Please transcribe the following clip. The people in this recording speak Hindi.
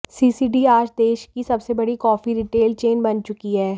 सीसीडी आज देश की सबसे बड़ी कॉफी रिटेल चेन बन चुकी है